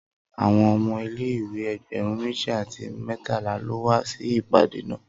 Awọn ọmọ ile-iwe ẹgbẹrun meji ati mẹtala lo wa si ipade naa